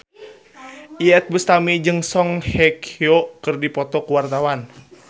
Iyeth Bustami jeung Song Hye Kyo keur dipoto ku wartawan